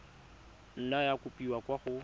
nna ya kopiwa kwa go